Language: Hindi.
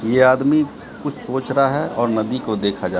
ये आदमी कुछ सोच रहा है और नदी को देखा जाए--